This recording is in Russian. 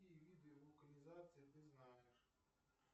какие виды вулканизации ты знаешь